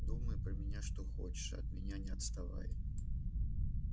думай про меня что хочешь а от меня не отставай